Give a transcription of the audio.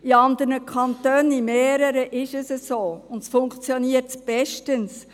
In anderen Kantonen, sogar in mehreren, ist es so, und es funktioniert bestens.